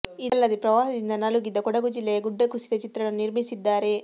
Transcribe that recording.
ಇದಲ್ಲದೇ ಪ್ರವಾಹದಿಂದ ನಲುಗಿದ್ದ ಕೊಡಗು ಜಿಲ್ಲೆಯ ಗುಡ್ಡ ಕುಸಿದ ಚಿತ್ರಣವನ್ನು ನಿರ್ಮಿಸಿದ್ದಾರೆ